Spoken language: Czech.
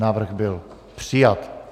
Návrh byl přijat.